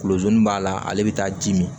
Kuluzo ni b'a la ale bi taa dimi